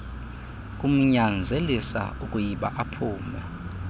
kumnyanzelisa ukuyba aphume